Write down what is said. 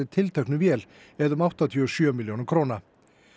tilteknu vél eða um áttatíu og sjö milljóna króna